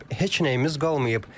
Heç nəyimiz qalmayıb.